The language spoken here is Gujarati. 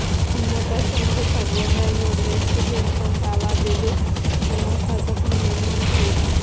જૈન મોટા સંઘ તથા ગોંડલ રોડ વેસ્ટ જૈન સંઘ આવા બે બે ધર્મસ્થાનકનું નિર્માણ થયું